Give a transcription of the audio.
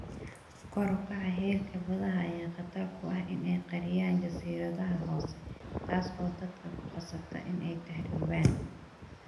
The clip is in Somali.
Kor u kaca heerka badaha ayaa khatar ku ah in ay qariyaan jasiiradaha hoose, taas oo dadka ku qasabta in ay tahriibaan.